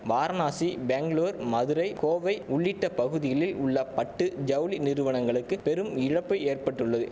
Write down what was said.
வாரணாசி பெங்களூர் மதுரை கோவை உள்ளிட்ட பகுதியிளில் உள்ள பட்டு ஜவுளி நிறுவனங்களுக்கு பெரும் இழப்பு ஏற்பட்டுள்ளது